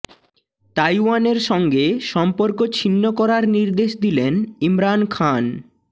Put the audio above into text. তাইওয়ানের সঙ্গে সম্পর্ক ছিন্ন করার নির্দেশ দিলেন ইমরান খান